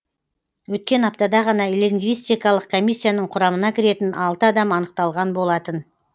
өткен аптада ғана лингвистикалық комиссияның құрамына кіретін алты адам анықталған болатын